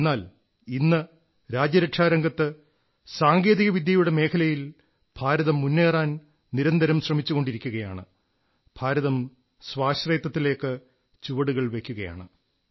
എന്നാൽ ഇന്ന് രാജ്യരക്ഷാരംഗത്ത് സാങ്കേതിക വിദ്യയുടെ മേഖലയിൽ ഭാരതം മുന്നേറാൻ നിരന്തരം ശ്രമിച്ചുകൊണ്ടിരിക്കുകയാണ് ഭാരതം സ്വാശ്രയത്വത്തിലേക്ക് ചുവടുകൾ വയ്ക്കുകയാണ്